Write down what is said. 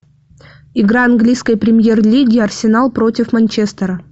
игра английской премьер лиги арсенал против манчестера